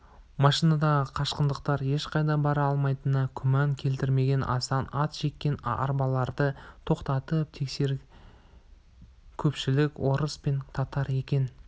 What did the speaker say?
машинадағы қашқындар ешқайда бара алмайтынына күмән келтірмеген асан ат жеккен арбаларды тоқтатып тексерсе көпшілігі орыс пен татар екен